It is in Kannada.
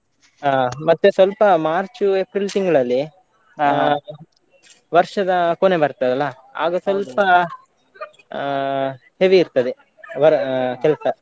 ಹಾ ಮತ್ತೆ ಸ್ವಲ್ಪ March, April ತಿಂಗ್ಳಲ್ಲಿ ಆ ವರ್ಷದ ಕೊನೆ ಬರ್ತದಲ್ಲ ಆಗ ಸ್ವಲ್ಪ ಆ heavy ಇರ್ತದೆ wor~ ಆ ಕೆಲ್ಸ.